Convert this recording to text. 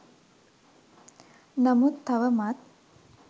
නමුත් තවමත්